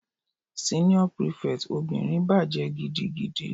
Senior prefect obìnrin bàjẹ́ gidigidi.